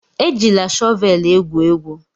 Ejila shọvelụ egwu egwu!